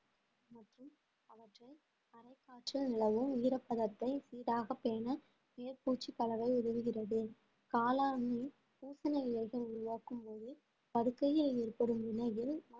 நிலவும் ஈரப்பதத்தை சீராக பேண மேற்பூச்சுக்கலவை உதவுகிறது காளானில் பூசன இலைகள் உருவாக்கும் போது படுக்கையில் ஏற்படும் நினைவு